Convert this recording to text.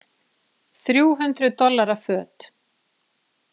Þrjú hundruð dollara föt.